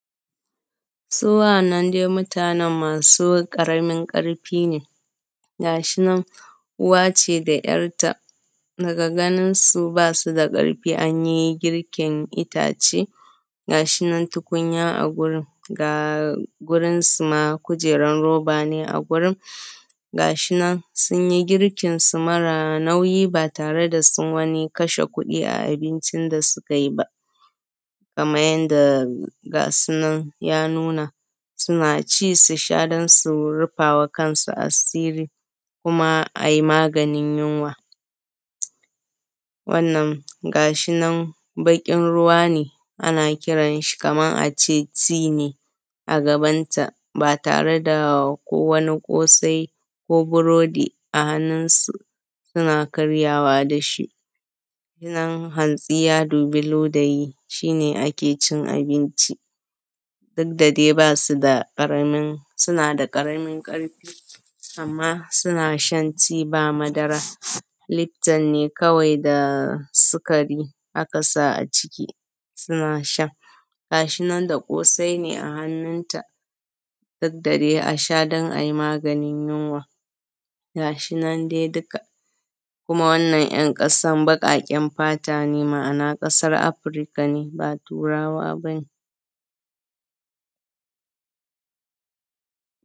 Su wa’annan dai mutanen masu ƙaramin ƙaramin ƙarfi ne, gashi nan uwace da ‘yarta daga ganinsu basu da ƙarfin, anyi girkin itace gashi nan tukunya a gurin ga gurin su ma kujeran roba ne a gurin, gashi nan sunyi girkin su mara nauyi ba tare da sun wani kashe kuɗi ba a abincin da suka yi ba. Kaman yanda gasu ya nuna, suna ci su sha dan su rufawa kansu asiri kuma ayi maganin yunwa. Wannan gashi nan bakin ruwa ne, ana kiran shi kaman ace tea ne a gabanta ba tare da ko wani kosai ko burodi a hannun su, suna karyawa dashi. Nan hantsi ya dubi ludayi shi ne ake cin abinci, duk da dai basu da ƙaramin, suna da ƙaramin ƙarfi, amman suna shan tea ba madara, lifton ne kawai da sukari aka sa a ciki, suna sha. Gashi nan da kosai ne a hannunta duk da dai asha don ai maganin yunwa, gashi nan dai duka. Kuma wannan ‘yan ƙasan baƙaƙen fata ne, ma’ana kasan Afrika ne, ba Turaba ne.